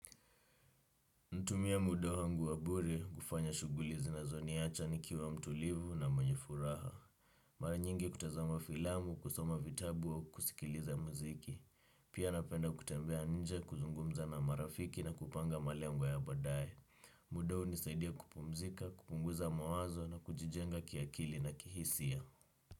Natumia muda wangu wa bure, kufanya shugulizi zinazoniacha nikiwa mtulivu na mwenye furaha. Mara nyingi kutazama filamu, kusoma vitabu au kusikiliza muziki. Pia napenda kutembea nje, kuzungumza na marafiki na kupanga malengo ya badaye. Muda hunisaidia kupumzika, kupunguza mawazo na kujijenga kiakili na kihisia.